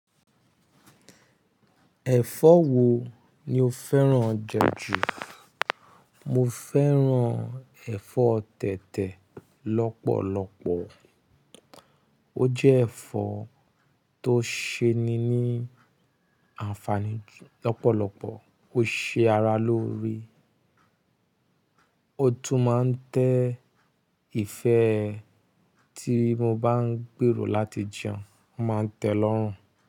Ẹ̀fọ́ wo ni o fẹ́ràn jẹ jù? Mo fẹ́ràn ẹ̀fọ́ tẹ̀tẹ̀ lọ́pọ̀lọpọ̀. Ó jẹ́ ẹ̀fọ́ tó ṣe ni ní àǹfààní lọ́pọ̀lọpọ̀, ó ṣe ara lóore, ó tún máa ń tẹ ìfẹ́ tí mo bá ń gbèrò láti jẹun, ó máa ń tẹ́ ẹlọ́rùn.